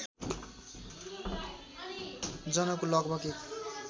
जनको लगभग १